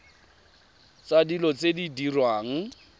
tsa dilo tse di diriwang